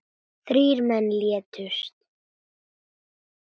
Þrír menn létust.